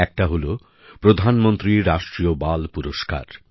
একটি হল প্রধানমন্ত্রী রাষ্ট্রীয় বাল পুরস্কার